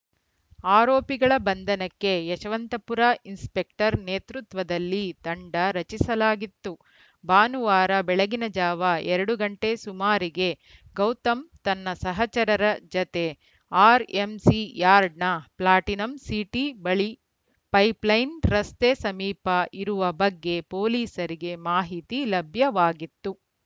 ಆರೋಪಿಗಳ ಬಂಧನಕ್ಕೆ ಯಶವಂತಪುರ ಇನ್ಸ್‌ಪೆಕ್ಟರ್‌ ನೇತೃತ್ವದಲ್ಲಿ ತಂಡ ರಚಿಸಲಾಗಿತ್ತು ಭಾನುವಾರ ಬೆಳಗಿನ ಜಾವ ಎರಡು ಗಂಟೆ ಸುಮಾರಿಗೆ ಗೌತಮ್‌ ತನ್ನ ಸಹಚರರ ಜತೆ ಆರ್‌ಎಂಸಿ ಯಾರ್ಡ್‌ನ ಪ್ಲಾಟಿನಂ ಸಿಟಿ ಬಳಿ ಪೈಪ್‌ಲೈನ್‌ ರಸ್ತೆ ಸಮೀಪ ಇರುವ ಬಗ್ಗೆ ಪೊಲೀಸರಿಗೆ ಮಾಹಿತಿ ಲಭ್ಯವಾಗಿತ್ತು